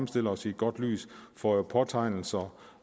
stille os i et godt lys får jo påtegnelser